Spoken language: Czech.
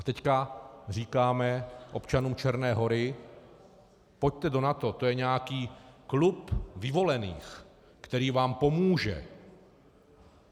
A teď říkáme občanům Černé Hory: pojďte do NATO, to je nějaký klub vyvolených, který vám pomůže.